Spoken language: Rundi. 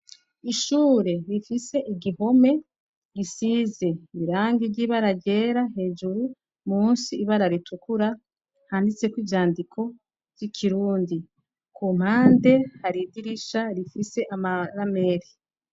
Ishure rifise igihome gisize ibirangi ry'ibararyera hejuru musi ibara ritukura handitseko ivyandiko vy'ikirundi ku mpande haridirisha rifise amarameri.